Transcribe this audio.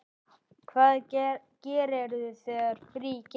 Hvað gerirðu þegar frí gefst?